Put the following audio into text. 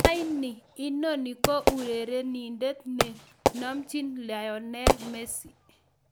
"Anii, inoni ko urerenindet ne nomchin Lionel Messi?"